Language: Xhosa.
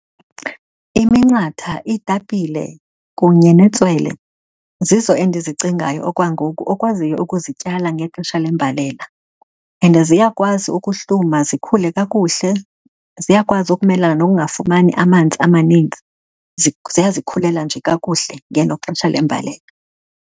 Iminqatha, iitapile, kunye netswele zizo endizicingayo okwangoku okwaziyo ukuzityala ngexesha lembalela. And ziyakwazi ukuhluma zikhule kakuhle, ziyakwazi ukumelana nokungafumani amanzi amaninzi. Ziyazikhulela nje kakuhle ngelo xesha lembalela.